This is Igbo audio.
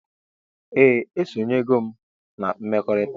Ee esonyego m na mmekọrita.